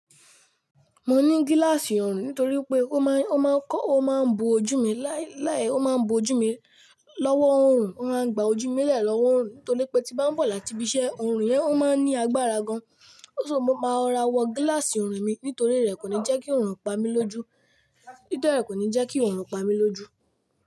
Mo ni gíláàsì oọ̀rùn nítorí pé ó máa ń kọ́, ó máa ń bo ojú mi, láì láì ó máa ń bo ojú mi lọ́wọ́ òorùn, ó máa ń gba ojú mi léè lọ́wọ́ òorùn nítorí pé tí bá ń bọ̀ láti ibi iṣẹ́, òorùn yẹn ó máa ń ní agbára gan. Só mo máa ro ra wọ gíláàsì oọ̀rùn mi nítorí rẹ̀ kò ní jẹ́ kí oòrùn pa mi lójú. Nítorí rẹ̀ kò ní jẹ́ kí òorùn pa mi lójú.